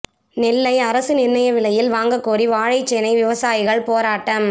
நெல்லை அரசு நிர்ணய விலையில் வாங்க கோரி வாழைச்சேனை விவசாயிகள் போராட்டம்